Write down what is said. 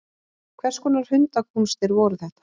Hvers konar hundakúnstir voru þetta?